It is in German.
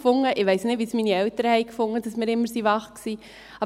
Ich weiss nicht, wie es meine Eltern fanden, dass wir immer wach waren.